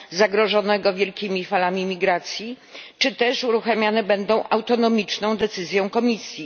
zagrożonego wielkimi falami migracji czy też będą one uruchamiane na mocy autonomicznej decyzji Komisji?